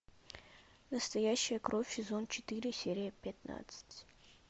настоящая кровь сезон четыре серия пятнадцать